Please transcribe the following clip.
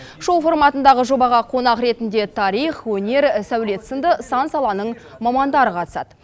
шоу форматындағы жобаға қонақ ретінде тарих өнер сәулет сынды сан саланың мамандары қатысады